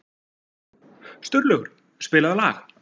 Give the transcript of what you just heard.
Sturlaugur, spilaðu lag.